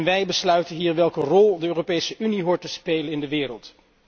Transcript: Wij besluiten hier welke rol de Europese Unie hoort te spelen in de wereld.